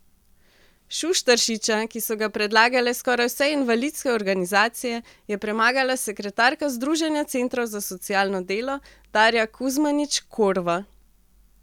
Šuštaršiča, ki so ga predlagale skoraj vse invalidske organizacije, je premagala sekretarka združenja centrov za socialno delo Darja Kuzmanič Korva.